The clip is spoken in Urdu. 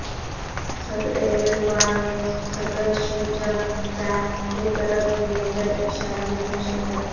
صدر ایردوان نے صدر شی جن پنگ کیطرف دئیے گئے عشائیے میں شرکت کی